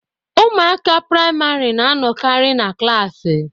Ụmụaka priamarị na anọkari na klaasị.